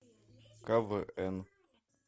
квн